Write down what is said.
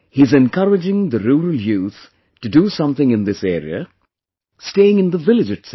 He is encouraging the rural youth to do something in this area, staying in the village itself